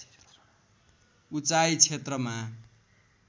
उचाइ क्षेत्रमा